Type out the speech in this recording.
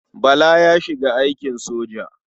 Bala ya shiga aikin soja.